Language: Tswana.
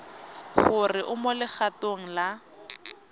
gore o mo legatong la